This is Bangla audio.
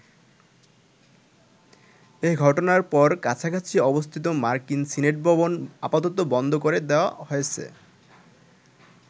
এঘটনার পর কাছাকাছি অবস্থিত মার্কিন সিনেট ভবন আপাতত বন্ধ করে দেয়া হয়েছে।